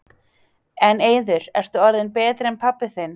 En Eiður, ertu orðinn betri en pabbi þinn?